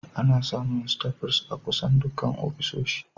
Ana samun staples a kusan dukkan ofisoshi